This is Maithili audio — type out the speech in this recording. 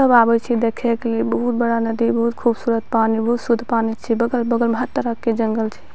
सब आवै छै देखे के लिए बहुत बड़ा नदी बहुत खूबसूरत पानी बहुत शुद्ध पानी छै बगल-बगल में हर तरह के जंगल छै।